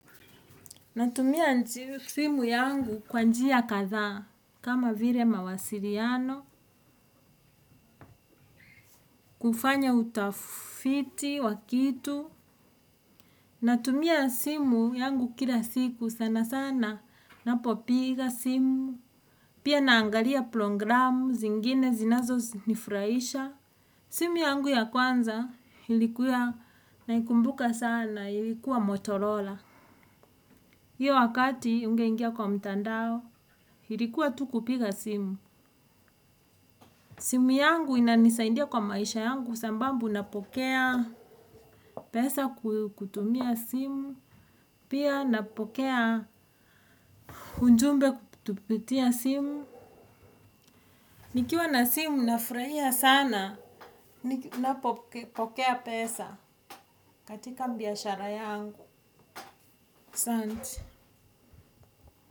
Natumia simu yangu kwa njia kadha kama vile mawasiliano, kufanya utafiti, wakitu. Natumia simu yangu kila siku sana sana napopiga simu. Pia naangalia programu zingine zinazo nifurahisha. Simu yangu ya kwanza ilikuwa naikumbuka sana ilikuwa Motorola. Iyo wakati ungeingia kwa mtandao ilikuwa tu kupiga simu. Simu yangu inanisaindia kwa maisha yangu sababu napokea pesa kutumia simu. Pia napokea ujumbe kutupitia simu. Nikiwa na simu nafurahia sana napopokea pesa katika biashara yangu. Asanti.